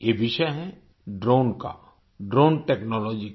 ये विषय है ड्रोन का ड्रोन टेक्नोलॉजी का